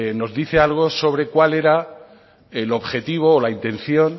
nos dice algo sobre cuál era el objetivo o la intención